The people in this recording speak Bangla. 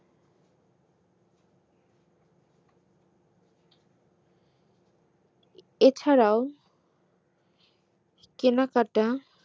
এছাড়াও কেনাকাটা